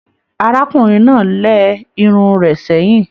Arákùnrin náà lẹ irun rẹ sẹyìn.